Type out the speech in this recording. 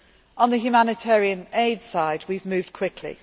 to account. On the humanitarian aid side, we have